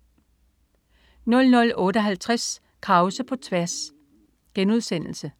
00.58 Krause på tværs*